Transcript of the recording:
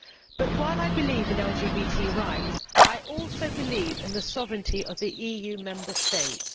But while I believe in LGBT rights, I also believe in the sovereignty of the EU Member States.